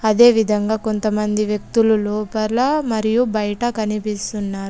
అదేవిధంగా కొంతమంది వ్యక్తులు లోపాల మరియు బయట కనిపిస్తున్నారు.